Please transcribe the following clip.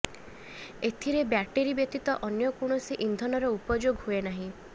ଏଥିରେ ବ୍ୟାଟେରୀ ବ୍ୟତୀତ ଅନ୍ୟ କୌଣସି ଇନ୍ଧନର ଉପଯୋଗ ହୁଏ ନାହିଁ